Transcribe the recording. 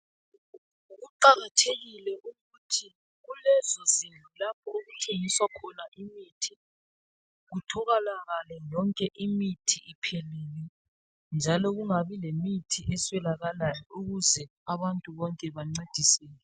Kuqakathekile ukuthi kulezozindlu lapho okuthengiswa khona imithi kutholakale yonke imithi iphelele njalo kungabi lemithi eswelakalayo ukuze abantu bonke bancediseke.